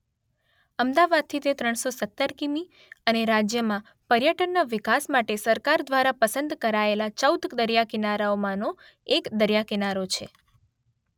અમદાવાદથી તે ત્રણસો સત્તર કિમી અને રાજ્યમાં પર્યટનના વિકાસ માટે સરકાર દ્વારા પસંદ કરાયેલા ચૌદ દરિયાકિનારામાંનો એક દરિયાકિનારો છે.